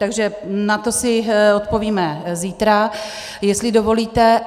Takže na to si odpovíme zítra, jestli dovolíte.